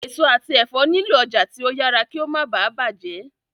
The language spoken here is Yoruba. èso àti èfó nilo ọjà tí o yàrá kí o má bá bàjé.